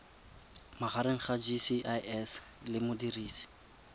magareng ga gcis le modirisi